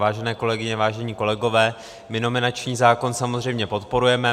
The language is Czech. Vážené kolegyně, vážení kolegové, my nominační zákon samozřejmě podporujeme.